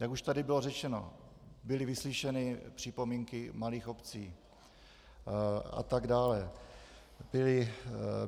Jak už tady bylo řečeno, byly vyslyšeny připomínky malých obcí a tak dále.